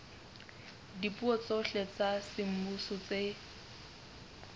dipuo tsohle tsa semmuso tse